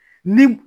Ni